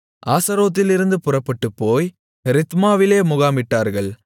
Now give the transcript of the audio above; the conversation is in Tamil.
ஆஸரோத்திலிருந்து புறப்பட்டுப்போய் ரித்மாவிலே முகாமிட்டார்கள்